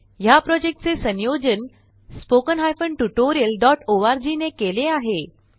ह्या प्रॉजेक्टचे संयोजन httpspoken tutorialorg ने केले आहे